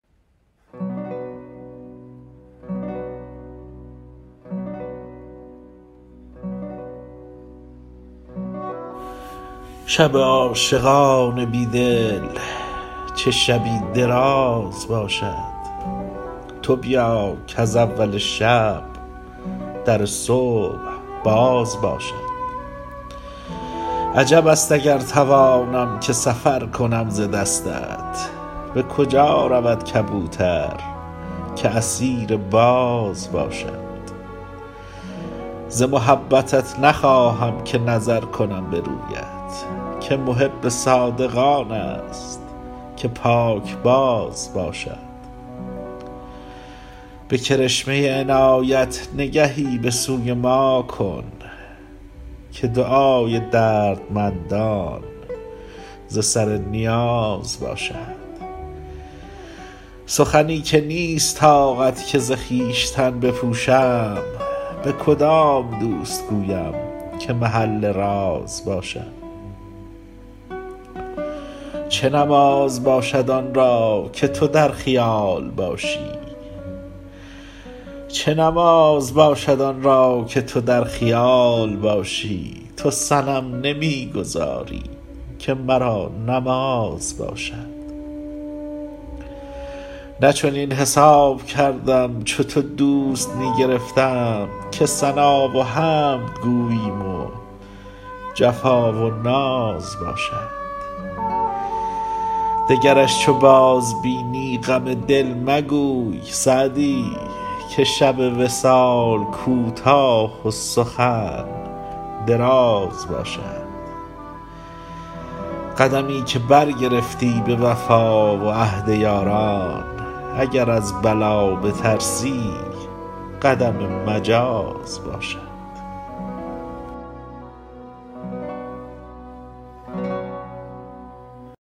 شب عاشقان بی دل چه شبی دراز باشد تو بیا کز اول شب در صبح باز باشد عجب است اگر توانم که سفر کنم ز دستت به کجا رود کبوتر که اسیر باز باشد ز محبتت نخواهم که نظر کنم به رویت که محب صادق آن است که پاکباز باشد به کرشمه عنایت نگهی به سوی ما کن که دعای دردمندان ز سر نیاز باشد سخنی که نیست طاقت که ز خویشتن بپوشم به کدام دوست گویم که محل راز باشد چه نماز باشد آن را که تو در خیال باشی تو صنم نمی گذاری که مرا نماز باشد نه چنین حساب کردم چو تو دوست می گرفتم که ثنا و حمد گوییم و جفا و ناز باشد دگرش چو بازبینی غم دل مگوی سعدی که شب وصال کوتاه و سخن دراز باشد قدمی که برگرفتی به وفا و عهد یاران اگر از بلا بترسی قدم مجاز باشد